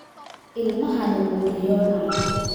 Ilmahani wuu riyoonayaa.